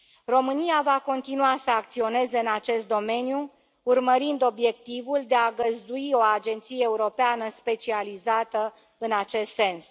România va continua să acționeze în acest domeniu, urmărind obiectivul de a găzdui o agenție europeană specializată în acest sens.